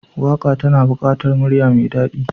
Waka tana bukatar murya mai dadi.